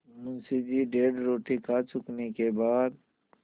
मुंशी जी डेढ़ रोटी खा चुकने के बाद